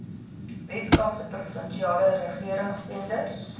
weskaapse provinsiale regeringstenders